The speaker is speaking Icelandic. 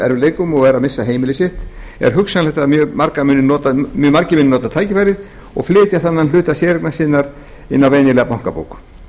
erfiðleikum og er að missa heimili sitt er hugsanlegt að mjög margir muni nota tækifærið og flytja þennan hluta séreignar sinnar á venjulega bankabók